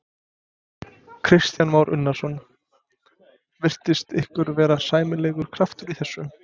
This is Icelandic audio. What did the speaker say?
Kristján Már Unnarsson: Virtist ykkur vera sæmilegur kraftur í þessu?